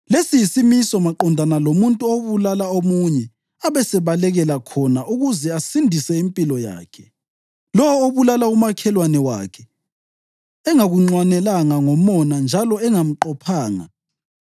Lesi yisimiso maqondana lomuntu obulala omunye abesebalekela khona ukuze asindise impilo yakhe, lowo obulala umakhelwane wakhe engakunxwanelanga ngomona njalo engamqophanga.